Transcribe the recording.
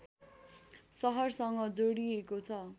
सहरसँग जोडिएको छ